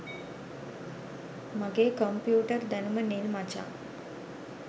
මගේ කොම්පියුටර් දැනුම නිල් මචං